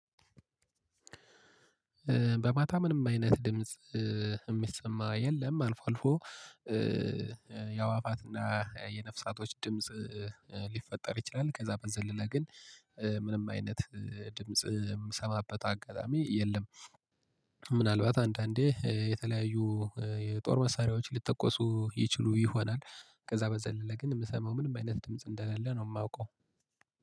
በማታ ምንም አይነት ድምጽ የሚሰማ የለም አልፎ አልፎ የአዋፋትና የነፍሳቶች ድምጽ ሊፈጠር ይችላል። ከዛ በዘለለ ግን ምንም አይነት ድምጽ የምሰማበት አጋጣሚ የለም። ምናልባት አንዳንዴ የተለያዩ የጦር መሳሪያዎች ሊጠኮሱ ይችሉ ይሆናል። ከዛ በዘለለ ግን የምሰማው ምንም አይነት ድምጽ እንደሌለ ነው የማውቀው።